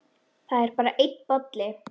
Það er bara einn bolli!